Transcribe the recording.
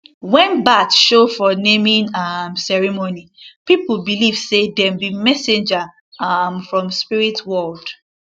when bat show for naming um ceremony people believe say dem be messenger um from spirit world